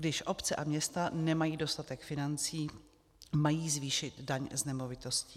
Když obce a města nemají dostatek financí, mají zvýšit daň z nemovitostí.